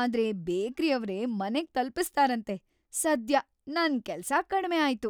ಆದ್ರೆ ಬೇಕರಿಯವ್ರೇ ಮನೆಗ್ ತಲುಪಿಸ್ತಾರಂತೆ ಸದ್ಯ ನನ್‌ ಕೆಲ್ಸ ಕಡ್ಮೆ ಆಯ್ತು.